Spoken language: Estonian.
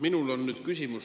Minul on küsimus.